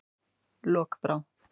Lokbrá